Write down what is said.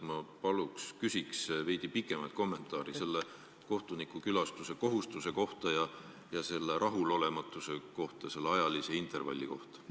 Ma palun veidi pikemat kommentaari selle kohtuniku kohustuse kohta ja selle rahulolematuse kohta, et ajaline intervall nii lühike on.